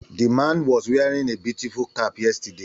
The man was wearing a beautiful cap yesterday